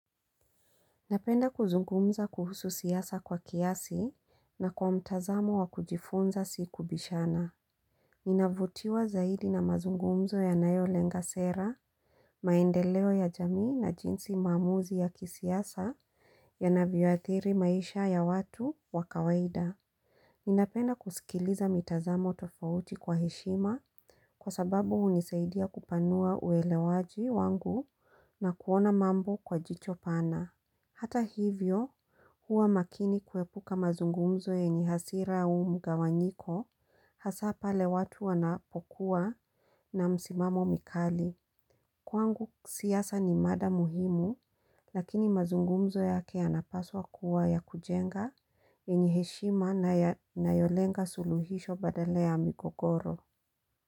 Napenda kuzungumza kuhusu siasa kwa kiasi na kwa mtazamo wa kujifunza sikubishana. Ninavutiwa zaidi na mazungumzo ya nayo lenga sera, maendeleo ya jamii na jinsi maamuzi ya kisiasa yanavyoathiri maisha ya watu wa kawaida. Ninapenda kusikiliza mitazamo tofauti kwa heshima kwa sababu unisaidia kupanua uelewaji wangu na kuona mambo kwa jicho pana. Hata hivyo, huwa makini kwepuka mazungumzo yenye hasira u mgawanyiko, hasa pale watu wanapokuwa na msimamo mikali. Kwangu siasa ni mada muhimu, lakini mazungumzo yake yanapaswa kuwa ya kujenga, yenye heshima na yolenga suluhisho badala ya migogoro.